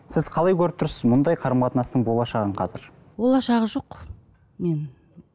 сіз қалай көріп тұрсыз мұндай қарым қатынастың болашағын қазір болашағы жоқ мен